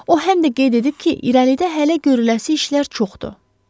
O həm də qeyd edib ki, irəlidə hələ görüləsi işlər çoxdur.